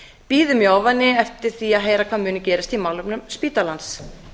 bíðum í ofvæni eftir því að heyra hvað muni gerast í málefnum spítalans